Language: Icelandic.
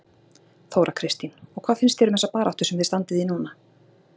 Þóra Kristín: Og hvað finnst þér um þessa baráttu sem þið standið í núna?